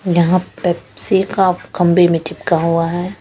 यहां पेप्सी अ काखंबे में चिपका हुआ है।